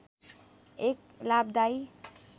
एक लाभदायी